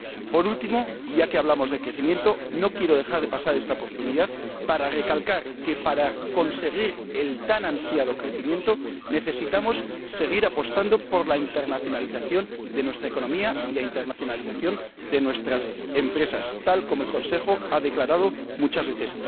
Por último —y ya que hablamos de crecimiento— no quiero dejar pasar esta oportunidad para recalcar que, para conseguir el tan ansiado crecimiento, necesitamos seguir apostando por la internacionalización de nuestra economía y de nuestras empresas, tal como el Consejo ha declarado muchas veces.